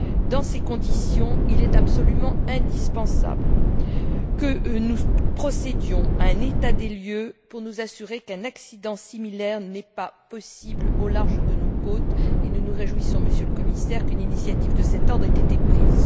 Dans ces conditions, il est absolument indispensable que nous procédions à un état des lieux pour nous assurer qu'un accident similaire n'est pas possible au large de nos côtes et nous nous réjouissons, Monsieur le Commissaire, qu'une initiative de cet ordre ait été prise.